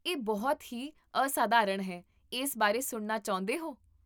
ਇਹ ਬਹੁਤ ਹੀ ਅਸਾਧਾਰਨ ਹੈ, ਇਸ ਬਾਰੇ ਸੁਣਨਾ ਚਾਹੁੰਦੇ ਹੋ?